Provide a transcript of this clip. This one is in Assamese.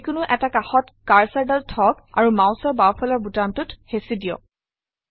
যিকোনো এটা কাষত কাৰ্চৰডাল থওক আৰু মাউচৰ বাওঁফালৰ বুটামটোত হেচি দিয়ক